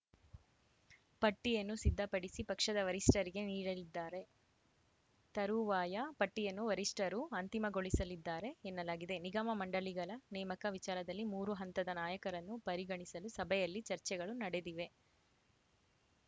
ಪಟ್ಟಿಯನ್ನು ಸಿದ್ದಪಡಿಸಿ ಪಕ್ಷದ ವರಿಷ್ಠರಿಗೆ ನೀಡಲಿದ್ದಾರೆ ತರುವಾಯ ಪಟ್ಟಿಯನ್ನು ವರಿಷ್ಠರು ಅಂತಿಮಗೊಳಿಸಲಿದ್ದಾರೆ ಎನ್ನಲಾಗಿದೆ ನಿಗಮ ಮಂಡಳಿಗಳ ನೇಮಕ ವಿಚಾರದಲ್ಲಿ ಮೂರು ಹಂತದ ನಾಯಕರನ್ನು ಪರಿಗಣಿಸಲು ಸಭೆಯಲ್ಲಿ ಚರ್ಚೆಗಳು ನಡೆದಿವೆ